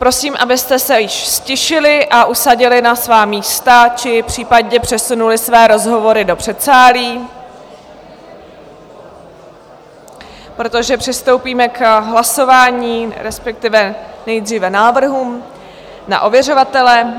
Prosím, abyste se již ztišili a usadili na svá místa, či případně přesunuli své rozhovory do předsálí, protože přistoupíme k hlasování, respektive nejdříve návrhům na ověřovatele.